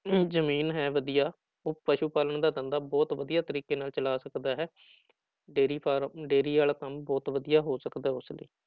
ਜ਼ਮੀਨ ਹੈ ਵਧੀਆ ਉਹ ਪਸੂ ਪਾਲਣ ਦਾ ਧੰਦਾ ਬਹੁਤ ਵਧੀਆ ਤਰੀਕੇ ਨਾਲ ਚਲਾ ਸਕਦਾ ਹੈ ਡੇਰੀ ਫਾਰਮ ਡੇਰੀ ਵਾਲਾ ਕੰਮ ਬਹੁਤ ਵਧੀਆ ਹੋ ਸਕਦਾ ਉਸ ਲਈ।